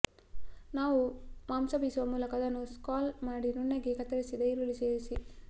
ನಾವು ಮಾಂಸ ಬೀಸುವ ಮೂಲಕ ಅದನ್ನು ಸ್ಕ್ರಾಲ್ ಮಾಡಿ ನುಣ್ಣಗೆ ಕತ್ತರಿಸಿದ ಈರುಳ್ಳಿ ಸೇರಿಸಿ